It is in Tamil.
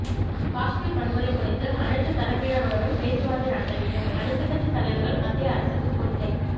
காஷ்மீர் வன்முறை குறித்து அனைத்து தரப்பினருடனும் பேச்சுவார்த்தை நடத்தவேண்டும் அனைத்துக்கட்சி தலைவர்கள் மத்திய அரசுக்கு கோரிக்கை